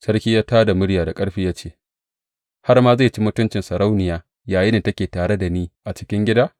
Sarki ya tā da murya da ƙarfi ya ce, Har ma zai ci mutuncin sarauniya yayinda take tare da ni a cikin gida?